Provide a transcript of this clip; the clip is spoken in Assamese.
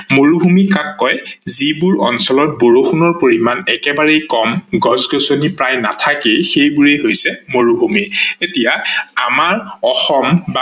মৰুভূমি কাক কয় যিবোৰ অঞ্চলত বৰষুনৰ পৰিমান একেবাৰে কম, গছ-গছনি প্ৰায় নাথাকেই সেইবোৰেই হৈছে মৰুভূমি। এতিয়া আমাৰ অসম